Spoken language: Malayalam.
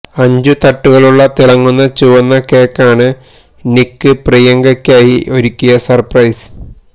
അഞ്ച് തട്ടുകളുള്ള തിളങ്ങുന്ന ചുവന്ന കേക്കാണ് നിക്ക് പ്രിയങ്കയ്ക്കായി ഒരുക്കിയ സര്പ്രൈസ്